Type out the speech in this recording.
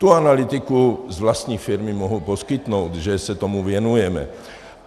Tu analytiku z vlastní firmy mohu poskytnout, že se tomu věnujeme.